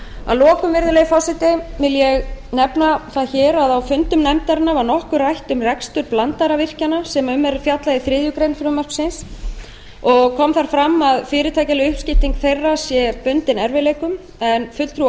að lokum virðulegi forseti vil ég nefna það hér að á fundum nefndarinnar var nokkuð rætt um rekstur blandaðra virkjana sem um er fjallað í þriðju greinar frumvarpsins kom þar fram að fyrirtækjaleg uppskipting þeirra sé bundin erfiðleikum en fulltrúi